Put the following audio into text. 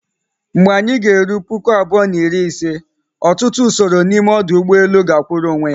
Mgbe anyị g'eru puku abụọ na iri ise, ọtụtụ usoro n'ime ọdụ ụgbọ elu ga-akwụụrụ onwe ya